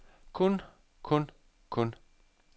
kun kun kun